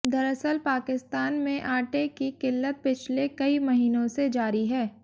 दरअसल पाकिस्तान में आटे की किल्लत पिछले कई महीनों से जारी है